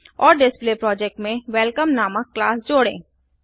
औरDisplay project में welcome नामक class जोड़ें